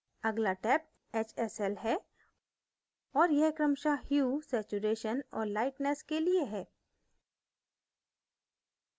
अगला tab hsl है और यह क्रमशः hue saturation और lightness के लिए है